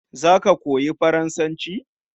Za ka koyi Faransanci?